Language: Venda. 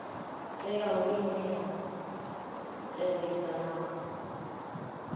teaho ine ya tevhedza na